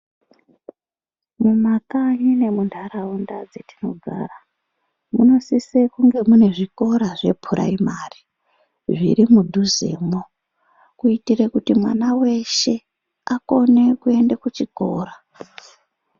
Mumakanyi nemundharawunda dzatinogara, munosise kunge munezvikora zveprayimari. Zvirimudhuze mo kuitire kuti mwana weshe akone kuenda kuchikora.